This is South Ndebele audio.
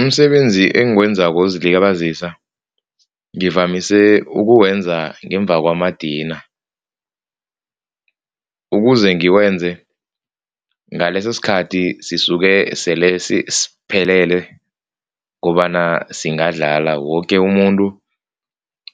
Umsebenzi engiwenzako wokuzilibazisa ngivamise ukuwenza ngemva kwamadina. Ukuze ngiwenze ngalesosikhathi sisuke sele siphelele kobana singadlala, woke umuntu